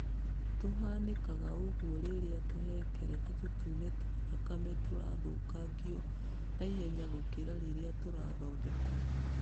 Kũhanĩkaga ũguo rĩrĩa tũhengereta tũtune twa thakame tũthũkangagio naihenya gũkĩra ũrĩa tũrathondekwo.